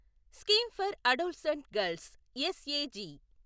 scheme for adolescent girls SAG